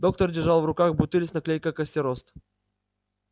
доктор держал в руках бутыль с наклейкой костерост